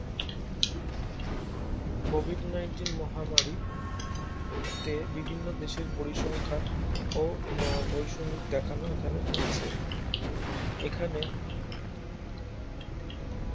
Covid nineteen মহামারী তে বিভিন্ন দেশের পরিসংখ্যান ও দেখানো এখানে হয়েছে এখানে